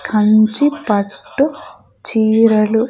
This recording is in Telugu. కంచి పట్టు చీరలు .